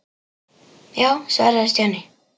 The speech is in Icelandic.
Já svaraði Stjáni.